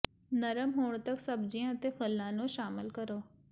ਨਰਮ ਹੋਣ ਤੱਕ ਸਬਜ਼ੀਆਂ ਅਤੇ ਫਲਾਂ ਨੂੰ ਸ਼ਾਮਲ ਕਰੋ